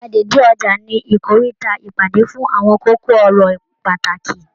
Gbàgede ọja ni ikoríta ìpàdé fún àwọn kókó ọ̀rọ̀ pàtàkì.